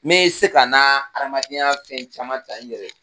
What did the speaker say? Me se ka na adamadenya fɛn caman ta n yɛrɛ ye.